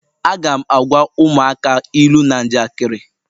Aga m na-agwa ụmụaka ilu na njakịrị.